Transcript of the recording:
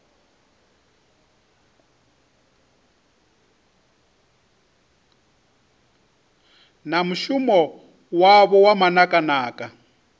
na mushumo wavho wa manakanaka